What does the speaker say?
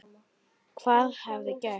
Hvað hefði gerst?